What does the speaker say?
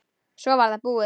Svo var það búið.